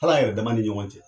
Halan yɛrɛ dama ni ɲɔgɔn cɛ.